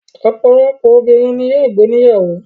Ọ̀pọ̀ obìnrin ni yóò gbé níyàwó.